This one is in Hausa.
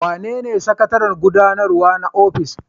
Wanene sakataren gudanarwa na ofis?